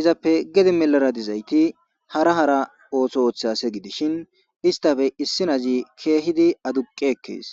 izappe gede milara dizayti hara hara ootho ooththea ase gidishin istafe issinazi keehidi aduqi ekkees